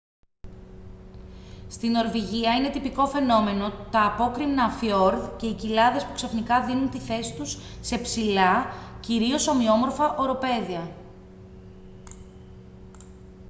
στη νορβηγία είναι τυπικό φαινόμενο τα απόκρημνα φιορδ και οι κοιλάδες που ξαφνικά δίνουν τη θέση τους σε ψηλά κυρίως ομοιόμορφα οροπέδια